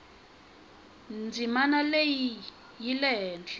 ndzimanaleyi yilehile